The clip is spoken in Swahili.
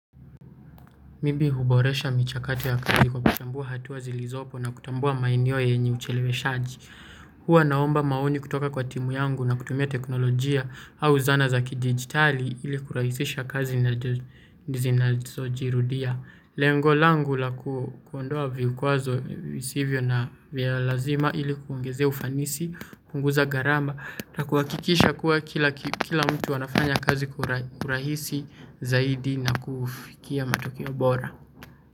Mimi huboresha michakato ya kazi kwa kuchambua hatuwa zilizopo na kutambua maeneo yenye ucheleweshaji. Hua naomba maoni kutoka kwa timu yangu na kutumia teknolojia au zana za kidigitali ili kurahisisha kazi na zinazojirudia. Lengo langu la kuondoa vikwazo visivyo na vialazima ili kuongezea ufanisi, kupunguza garama. Na kuakikisha kuwa kila mtu anafanya kazi kwa urahisi zaidi na kufikia matokio bora.